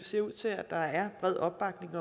ser ud til at der er bred opbakning